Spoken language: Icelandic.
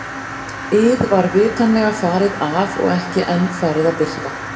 ið var vitanlega farið af og ekki enn farið að birta.